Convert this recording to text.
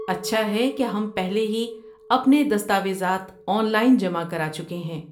اچھا ہے کہ ہم پہلے ہی اپنے دستاویزات آن لائن جمع کرا چکے ہیں۔